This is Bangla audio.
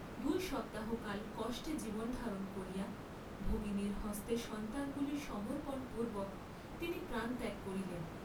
দুই সপ্তাহ কাল কষ্টে জীবন ধারণ করিয়া ভগিনীর হস্তে সন্তানগুলি সমর্পণ পূর্ব্বক তিনি প্রাণত্যাগ করিলেন।